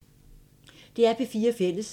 DR P4 Fælles